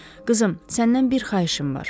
Qızım, səndən bir xahişim var.